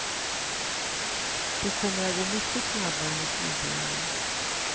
Det kommer att gå mycket snabbare och smidigare.